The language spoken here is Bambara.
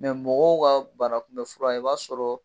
mɔgɔw ka banakunbɛ fura i b'a sɔrɔ